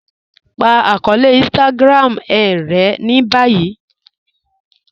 Pa akọọlẹ̀ Instagram e rẹ̀ ni báyì